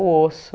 o osso.